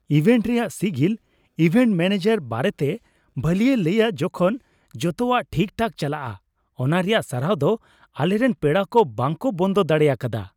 Event ᱨᱮᱭᱟᱜ ᱥᱤᱜᱤᱞ event manager ᱵᱟᱨᱮᱛᱮ ᱵᱷᱚᱞᱤᱭᱩᱢ ᱮ ᱞᱟᱹᱭᱟ ᱡᱚᱠᱷᱚᱱ ᱡᱚᱛᱚᱣᱟᱜ ᱴᱷᱤᱠᱴᱷᱟᱠ ᱪᱟᱞᱟᱜᱼᱟ ᱚᱱᱟ ᱨᱮᱭᱟᱜ ᱥᱟᱨᱦᱟᱣ ᱫᱚ ᱟᱞᱮᱨᱮᱱ ᱯᱮᱲᱟ ᱠᱚ ᱵᱟᱝᱠᱚ ᱵᱚᱱᱫᱚ ᱫᱟᱲᱮ ᱟᱠᱟᱫᱟ ᱾